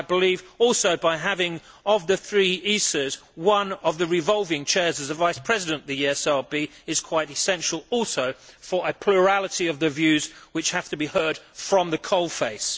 I also believe that having, of the three ISAs, one of the revolving chairs as a Vice President of the ESRB is quite essential also for a plurality of the views which have to be heard from the coalface.